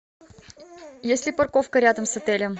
есть ли парковка рядом с отелем